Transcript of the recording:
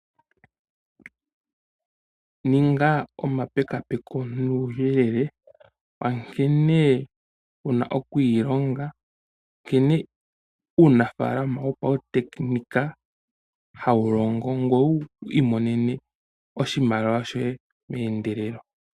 Ninga omapekapeko nuyelele nkene wuna okwilonga nkene uunafalama woputekinika hawu longo ngweye owi imonene oshimaliwa shoye mendelelo.